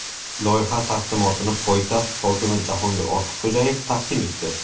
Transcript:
Loyiha taqdimotini poytaxt hokimi Jahongir Ortiqxo‘jayev taqdim etdi.